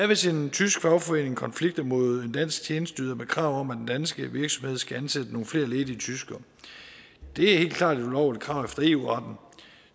hvis en tysk fagforening konflikter mod en dansk tjenesteyder med krav om at den danske virksomhed skal ansætte nogle flere ledige tyskere det er helt klart et ulovligt krav efter eu retten